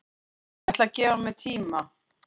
Ég ætla að gefa mér tíma